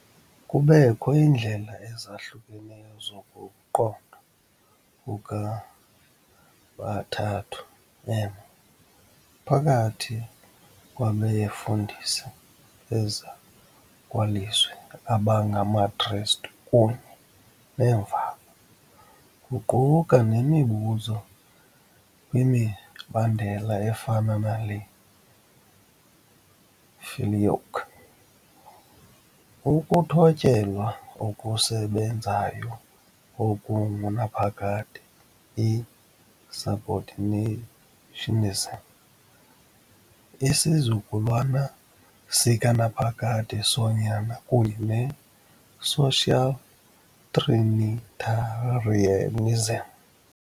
Kubekho iindlela ezahlukeneyo zokuqondwa kukaBathathu Emnye phakathi kwabefundisi bezakwalizwi abangamaKristu kunye neemvaba, kuquka nemibuzo kwimibandela efana nale- filioque, ukuthotyelwa okusebenzayo okungunaphakade, i-subordinationism, isizukulwana sikanaphakade soNyana kunye ne -social trinitarianism.